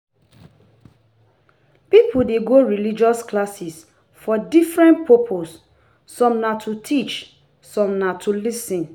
Pipo de go religious classes for different purpose some na to teach some na to lis ten